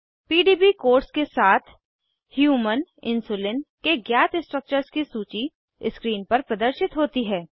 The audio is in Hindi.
पीडीबी कोड्स के साथ ह्यूमन इन्सुलिन के ज्ञात स्ट्रक्चर्स की सूची स्क्रीन पर प्रदर्शित होती है